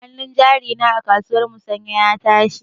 Hanun jari na a kasuwar musanya ya tashi.